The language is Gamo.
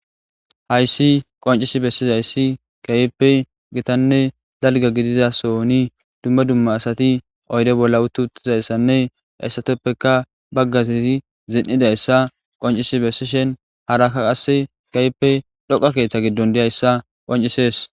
Hayssi qoncisi bessizayssi kayppe gitanne dalga gidizasoni dumma dumma asati oyre bolla utti huttizayssanne essateppeka baggazisi zin7idayssa qoncisi bessishen harakka qasse gayppe dhoqa keeththa giddon diyayssa qoncisees.